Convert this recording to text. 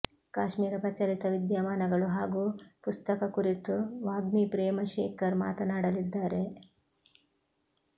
ಕಾಶ್ಮೀರ ಪ್ರಚಲಿತ ವಿದ್ಯಮಾನಗಳು ಹಾಗೂ ಪುಸ್ತಕ ಕುರಿತು ವಾಗ್ಮಿ ಪ್ರೇಮ ಶೇಖರ್ ಮಾತನಾಡಲಿದ್ದಾರೆ